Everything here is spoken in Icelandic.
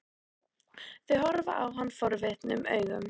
Þau horfa á hann forvitnum augum.